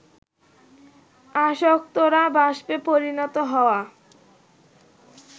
আসক্তরা বাষ্পে পরিণত হওয়া